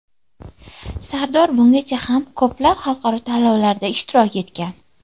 Sardor bungacha ham ko‘plab xalqaro tanlovlarda ishtirok etgan.